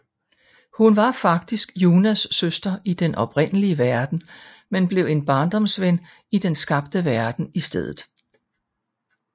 Hun er faktisk Junnas søster i den oprindelige verden men blev en barndomsven i den skabte verden i stedet